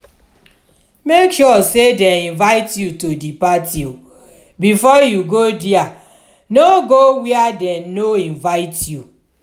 make sure say dem invite you to di parti before you go there no go where dem no invite you